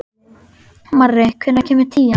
Marri, hvenær kemur tían?